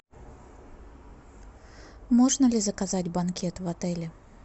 можно ли заказать банкет в отеле